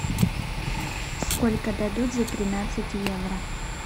сколько дадут за тринадцать евро